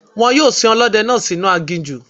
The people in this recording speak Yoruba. Wọ́n yóò sin Ọlọ́dẹ náà sì inú aginjù.